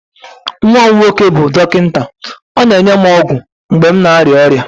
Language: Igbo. nwa m nwoke bụ dọkịta, ọ na-enye m ọgwụ mgbe m na-arịa ọrịa